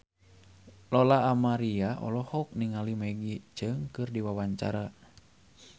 Lola Amaria olohok ningali Maggie Cheung keur diwawancara